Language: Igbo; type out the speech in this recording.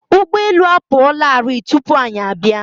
Ụgbọ elu apụ ọ la rii tụpụ anyị abịa.